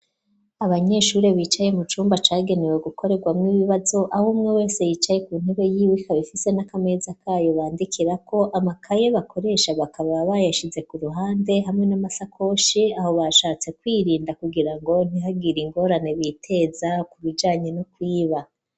Abanyeshuri bicaye mu cumba cagenewe gukorerwamwo ibibazo, aho umwe wese yicaye ku ntebe yiwe, ikaba ifise n'akameza kayo bandikirako, amakaye bakoresha bakaba bayashize ku ruhande hamwe n'amashakoshi, aho bashatse kwirinda kugira ngo ntihagire ingorane biteza ku bijanye no kwiba.